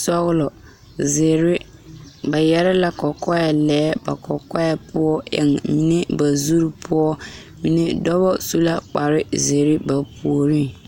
sɔgelɔ zeere ba yɛrɛ la kɔkɔɛ lɛɛ ba kɔkɔɛ poɔ ba eŋ la ba zuriŋ poɔ dɔba su la kpar zeere ba puoriŋ